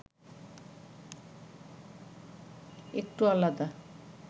একটু আলাদা